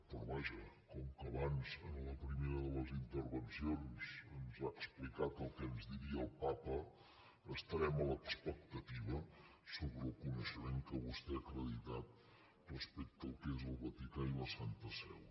però vaja com que abans en la primera de les intervencions ens ha explicat el que ens diria el papa estarem a l’expectativa sobre el coneixement que vostè ha acreditat respecte al que és el vaticà i la santa seu